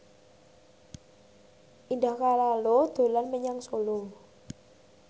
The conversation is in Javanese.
Indah Kalalo dolan menyang Solo